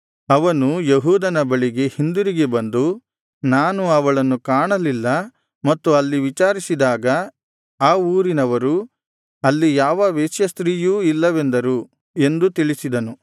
ಅವನು ಯೆಹೂದನ ಬಳಿಗೆ ಹಿಂದಿರುಗಿ ಬಂದು ನಾನು ಅವಳನ್ನು ಕಾಣಲಿಲ್ಲ ಮತ್ತು ಅಲ್ಲಿ ವಿಚಾರಿಸಿದಾಗ ಆ ಊರಿನವರು ಅಲ್ಲಿ ಯಾವ ವೇಶ್ಯಾಸ್ತ್ರೀಯೂ ಇಲ್ಲವೆಂದರು ಎಂದು ತಿಳಿಸಿದನು